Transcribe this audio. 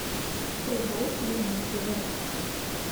врубай верните рекса